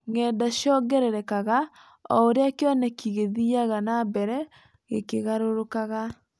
Ng’enda cĩongererekaga o ũrĩa kĩoneki gĩthiaga na mbere gĩkĩgarũrũkaga